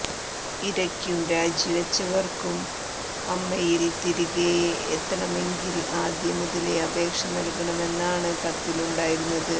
ഇരയ്ക്കും രാജിവച്ചവർക്കും അമ്മയിൽ തിരികെയെത്തണമെങ്കിൽ ആദ്യം മുതലേ അപേക്ഷ നൽകണമെന്നാണ് കത്തിൽ ഉണ്ടായിരുന്നത്